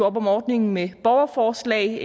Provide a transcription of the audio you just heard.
op om ordningen med borgerforslag